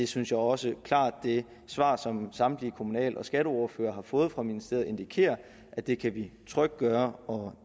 synes også at det svar som samtlige kommunal og skatteordførere har fået fra ministeriet klart indikerer at det kan vi trygt gøre og